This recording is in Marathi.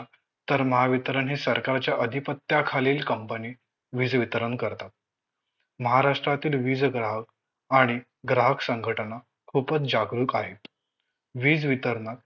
तर महावितरण हे सरकारच्या अधिपत्याखालील COMPANY वीज वितरण करतात महाराष्ट्रातील वीज ग्राहक आणि ग्राहक संघटना खूपच जागरूक आहेत वीज वितरणात